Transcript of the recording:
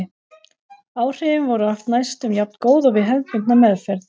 áhrifin voru oft næstum jafngóð og við hefðbundna meðferð